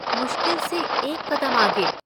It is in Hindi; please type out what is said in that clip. मुश्किल से एक कदम आगे।